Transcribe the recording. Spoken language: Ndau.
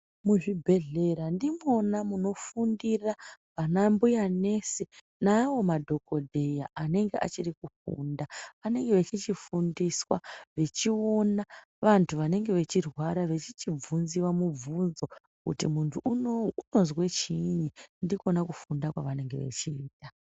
Muzvibhedhlera ndimona munofundira ana mbuya nesi naavo madhogodheya anenge achiri kufunda. Anenge echichifundiswa achiona vantu vanenge vechirwara vechichibvunziva mubvunzo kuti muntu unouyu unozwa chiini ndikona kufunda kwavanenge vechiita.